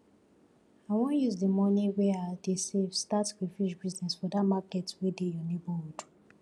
i wan use the money wey i dey save start crayfish business for dat market wey dey your neighborhood